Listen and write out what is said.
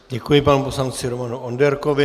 Děkuji, panu poslanci Romanu Onderkovi.